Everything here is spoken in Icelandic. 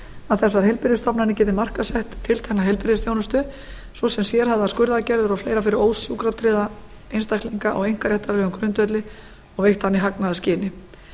að þessar heilbrigðisstofnanir geti markaðssett tiltekna heilbrigðisþjónustu ss sérhæfðar skurðaðgerðir og fleira fyrir ósjúkratryggða einstaklinga á einkaréttarlegum grundvelli og veitt hana í hagnaðarskyni